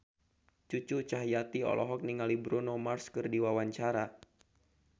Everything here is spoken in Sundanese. Cucu Cahyati olohok ningali Bruno Mars keur diwawancara